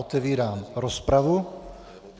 Otevírám rozpravu.